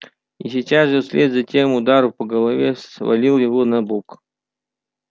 и сейчас же вслед за тем удар по голове свалил его на бок